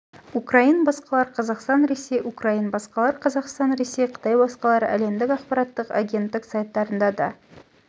украин басқалар қазақстан ресей украин басқалар қазақстан ресей қытай басқалар әлемдік ақпараттық агенттік сайттарында да